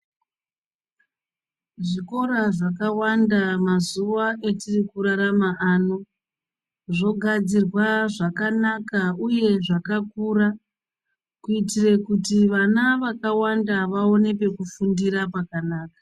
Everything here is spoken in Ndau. Zvikora zvakawanda mazuva atirikurarama ano zvogadzirwa zvakanaka uye zvakakura kuitire kuti vana vakawanda vawane pekufundira pakanaka .